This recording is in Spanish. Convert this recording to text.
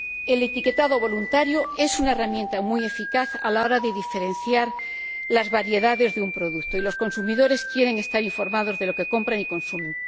El etiquetado voluntario es una herramienta muy eficaz a la hora de diferenciar las variedades de un producto, y los consumidores quieren estar informados de lo que compran y consumen.